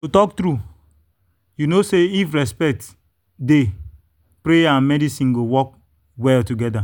to talk true you know say if respect dey prayer and medicine go work well together.